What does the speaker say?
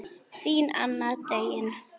Þín Anna Döggin.